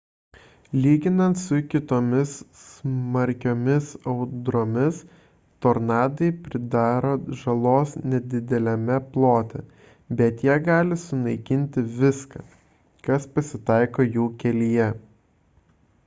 lyginant su kitomis smarkiomis audromis tornadai pridaro žalos nedideliame plote bet jie gali sunaikinti viską kas pasitaiko jų kelyje